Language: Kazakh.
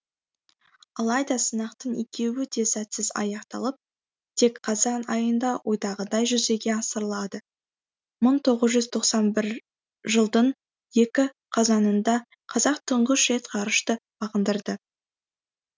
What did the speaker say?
алайда сынақтың екеуі де сәтсіз аяқталып тек қазан айында ойдағыдай жүзеге асырылады мың тоғыз жүз тоқсан бір жылдың екі қазанында қазақ тұңғыш рет ғарышты бағындырды